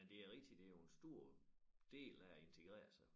Men det er rigtigt det jo en stor del af at integrere sig